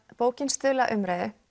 bókin stuðli að umræðu